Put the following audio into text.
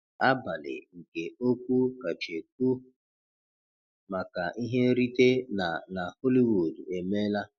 Abalị nke okwu kacha ekwu maka ihe nrite na na Hollywood emeela.